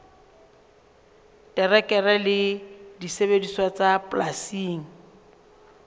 terekere le disebediswa tsa polasing